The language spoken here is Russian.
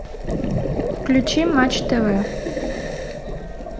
включи матч тв